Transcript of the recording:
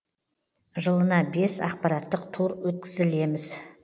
жылына бес ақпараттық тур өткізілеміз